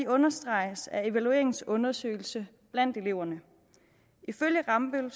understreges af evalueringens undersøgelse blandt eleverne ifølge rambøll